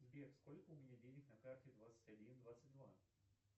сбер сколько у меня денег на карте двадцать один двадцать два